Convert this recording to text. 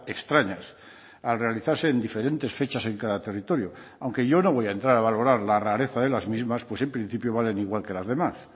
extrañas al realizarse en diferentes fechas en cada territorio aunque yo no voy a entrar a valorar la rareza de las mismas pues en principio valen igual que las demás